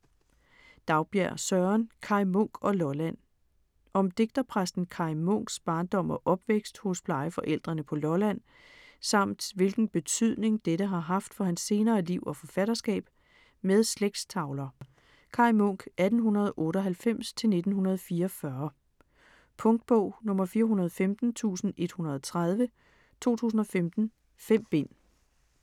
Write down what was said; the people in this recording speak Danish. Daugbjerg, Søren: Kaj Munk og Lolland Om digterpræsten Kaj Munks (1898-1944) barndom og opvækst hos plejeforældrene på Lolland, samt hvilken betydning dette har haft for hans senere liv og forfatterskab. Med slægtstavler. Punktbog 415130 2015. 5 bind.